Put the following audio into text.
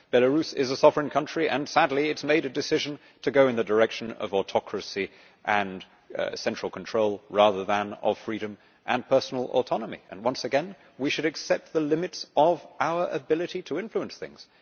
Belarus is a sovereign country and, sadly, it has made a decision to go in the direction of autocracy and central control, rather than of freedom and personal autonomy, but once again we should accept the limits of our ability to influence things.